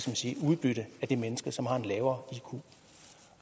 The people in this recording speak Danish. man sige udbytte af de mennesker som har en lavere iq